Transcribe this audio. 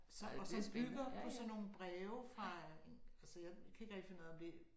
Så og som bygger på sådan nogle breve fra øh altså jeg kan ikke rigtig finde ud af om det